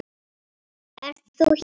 Ert þú hér!